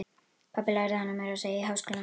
Pabbi lærði hana meira að segja í háskóla.